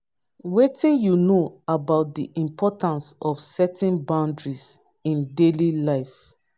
wetin you know about di importance of setting boundaries in daily life?